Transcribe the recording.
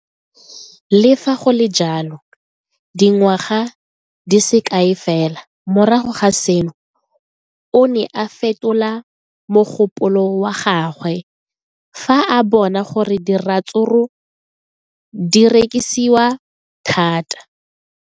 Le fa go le jalo, dingwaga di se kae fela morago ga seno, o ne a fetola mogopolo wa gagwe fa a bona gore diratsuru di rekisiwa thata.